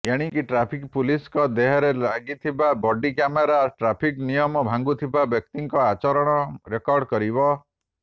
ଏଣିକି ଟ୍ରାଫିକ ପୁଲିସଙ୍କ ଦେହରେ ଲାଗିଥିବା ବଡି କ୍ୟାମେରା ଟ୍ରାଫିକ୍ ନିୟମ ଭାଙ୍ଗୁଥିବା ବ୍ୟକ୍ତିଙ୍କ ଆଚରଣ ରେକର୍ଡ କରିବ